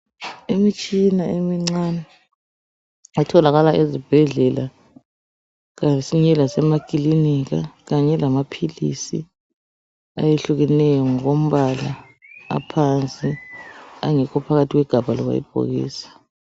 Imitshina emincane etholakala ezibhedlela kayisweleki lasemakilinika kanye lasemaphilisi ayehlukeneyo ngokombala aphansi angekho phakathi kwegabha lamabhokisi.